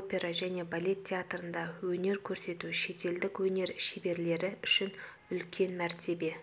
опера және балет театрында өнер көрсету шетелдік өнер шеберлері үшін үлкен мәртебе